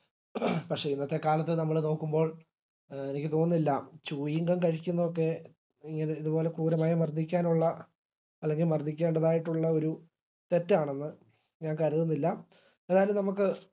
പക്ഷെ ഇന്നത്തെ കാലത്ത് നമ്മള് നോക്കുമ്പോൾ എനിക്ക് തോന്നുന്നില്ല chewing gum കഴിക്കുന്നത് ഇത്പോലെ ക്രൂരമായി മർദിക്കാനുള്ള അല്ലെങ്കിൽ മർദിക്കേണ്ടതായിട്ടുള്ള ഒരു തെറ്റാണെന്ന് ഞാൻ കരുതുന്നില്ല ഏതായാലും നമുക്ക്